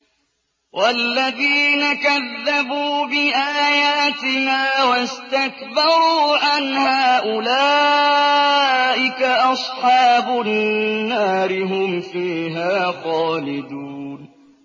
وَالَّذِينَ كَذَّبُوا بِآيَاتِنَا وَاسْتَكْبَرُوا عَنْهَا أُولَٰئِكَ أَصْحَابُ النَّارِ ۖ هُمْ فِيهَا خَالِدُونَ